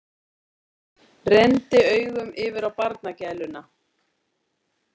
Renndi augunum yfir á barnagæluna.